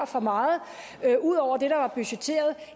for meget ud over det der var budgetteret